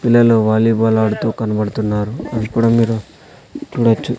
పిల్లలు వాలీబాల్ ఆడుతూ కనబడుతున్నారు అది కూడా మీరు చూడొచ్చు.